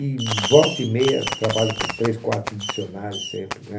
E volta e meia, trabalho com três, quatro dicionários sempre, né?